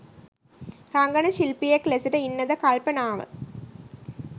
රංගන ශිල්පියෙක් ලෙසට ඉන්නද කල්පනාව.